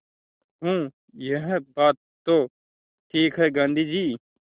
हूँ यह बात तो ठीक है गाँधी जी